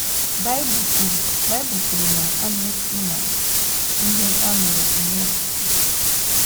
Baịbụl kwuru Baịbụl kwuru na “ a na - esi n’ihe a nụrụ enwe okwukwe. ”